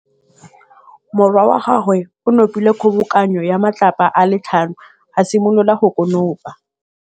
Morwa wa gagwe o nopile kgobokanô ya matlapa a le tlhano, a simolola go konopa.